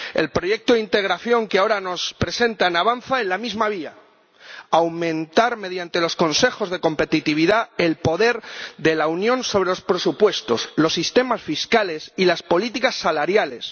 El proyecto de integración que ahora nos presentan avanza en la misma vía aumentar, mediante los Consejos de competitividad, el poder de la Unión sobre los presupuestos, los sistemas fiscales y las políticas salariales.